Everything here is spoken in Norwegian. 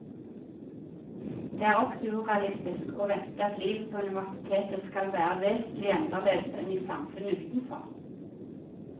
Det er også urealistisk å vente at livet på universitetet skal være vesentlig annerledes enn i samfunnet utenfor.